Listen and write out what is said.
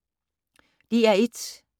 DR1